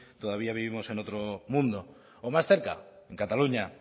todavía vivimos en otro mundo o más cerca en cataluña